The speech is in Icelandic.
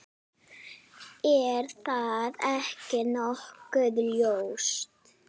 Er það ekki nokkuð ljóst?